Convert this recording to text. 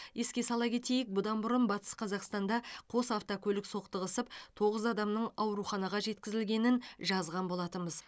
еске сала кетейік бұдан бұрын батыс қазақстанда қос автокөлік соқтығысып тоғыз адамның ауруханаға жеткізілгенін жазған болатынбыз